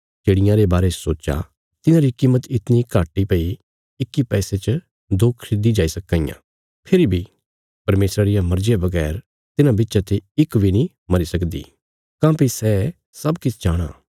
चिड़ियां रे बारे च सोच्चा इन्हांरी कीमत इतणी घट इ भई इक्की पैसे च दो खरीदी जाई सक्कां इयां फेरी बी परमेशरा रिया मर्जिया बगैर तिन्हां बिच्चा ते इक बी नीं मरी सकदी काँह्भई सै सब किछ जाणाँ